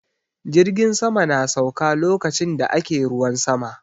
Jirgin sama na sauka lokacin da ake ruwan sama